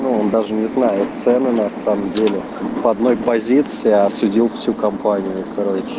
но он даже не зная цены на самом деле по одной позиции а осудил всю компанию короче